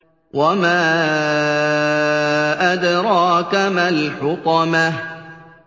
وَمَا أَدْرَاكَ مَا الْحُطَمَةُ